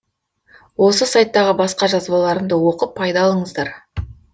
осы сайттағы басқа жазбаларымды оқып пайда алыңыздар